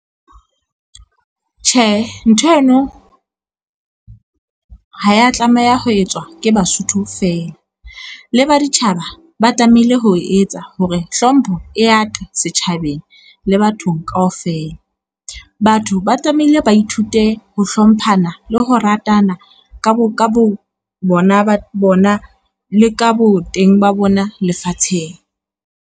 Tjhe nthweno, ha ya tlameha ho etswa ke Basotho fela, le baditjhaba ba tlameile ho etsa hore hlompho e yate setjhabeng le bathong kaofela, batho ba tlameile ba ithute ho hlomphana le ho ratana ka bo bona ba bona, le ka bo teng ba bona lefatsheng.